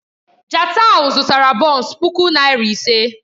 Jatau zụtara bọns puku naira ise.